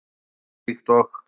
Hann var líkt og